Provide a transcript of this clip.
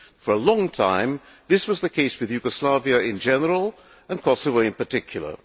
For a long time, this was the case with Yugoslavia in general, and Kosovo in particular.